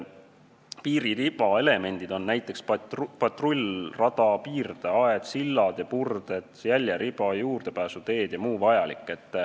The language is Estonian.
Piiririba elemendid on näiteks patrullrada, piirdeaed, sillad ja purded, jäljeriba, juurdepääsuteed ja muu vajalik.